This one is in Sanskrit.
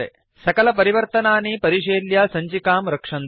सकलपरिवर्तनानि परिशील्य सञ्चिकां रक्षन्तु